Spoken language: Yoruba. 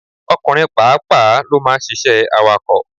Ọkùnrin pàápàá ló ma ń ṣiṣẹ́ awakọ̀.